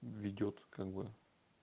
ведёт как бы